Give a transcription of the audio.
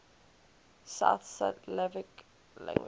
south slavic languages